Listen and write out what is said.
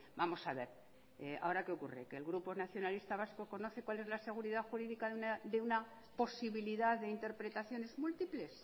vamos a ver ahora qué ocurre qué el grupo nacionalista vasco conoce cuál es la seguridad jurídica de una posibilidad de interpretaciones múltiples